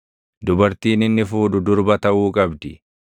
“ ‘Dubartiin inni fuudhu durba taʼuu qabdi.